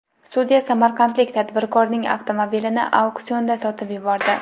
Sudya samarqandlik tadbirkorning avtomobilini auksionda sotib yubordi.